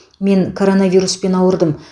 мен коронавируспен ауырдым